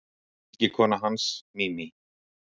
Fylgikona hans, Mimi